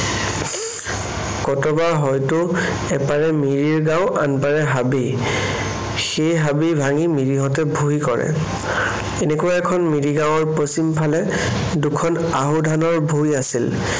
কতবা হয়তো এপাৰে মিৰিৰ গাঁও, আনপাৰে হাবি। সেই হাবি ভাঙি মিৰিহঁতে ভূঁই কৰে। এনেকুৱা এখন মিৰি গাঁৱৰ পশ্চিমফালে দুখন আহু ধানৰ ভূঁই আছিল।